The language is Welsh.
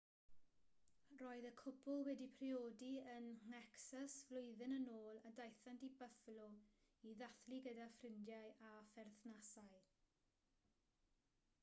roedd y cwpl wedi priodi yn nhecsas flwyddyn yn ôl a daethant i buffalo i ddathlu gyda ffrindiau a pherthnasau